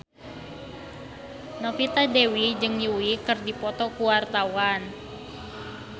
Novita Dewi jeung Yui keur dipoto ku wartawan